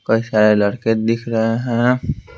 कई सारे लड़के दिख रहे हैं।